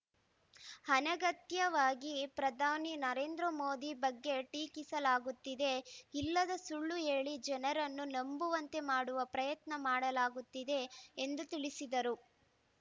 ಅನಗತ್ಯವಾಗಿ ಪ್ರಧಾನಿ ನರೇಂದ್ರ ಮೋದಿ ಬಗ್ಗೆ ಟೀಕಿಸಲಾಗುತ್ತಿದೆ ಇಲ್ಲದ ಸುಳ್ಳು ಹೇಳಿ ಜನರನ್ನು ನಂಬುವಂತೆ ಮಾಡುವ ಪ್ರಯತ್ನ ಮಾಡಲಾಗುತ್ತಿದೆ ಎಂದು ತಿಳಿಸಿದರು